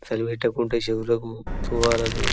చలి పెట్టుకుంటే చెవులకు తువాలాలు --